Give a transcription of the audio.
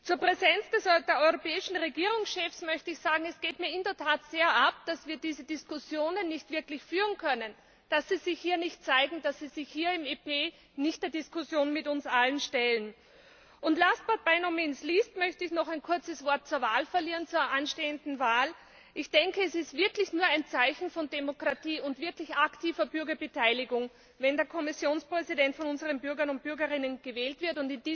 Zur Präsenz der europäischen Regierungschefs möchte ich sagen Es geht mir in der Tat sehr ab, dass wir diese Diskussionen nicht wirklich führen können, dass sie sich hier nicht zeigen, dass sie sich hier im EP nicht der Diskussion mit uns allen stellen. Last, but by no means least möchte ich noch ein kurzes Wort zur anstehenden Wahl verlieren. Es ist wirklich ein Zeichen von Demokratie und wirklich aktiver Bürgerbeteiligung, wenn der Kommissionspräsident von unseren Bürgerinnen und Bürgern gewählt wird.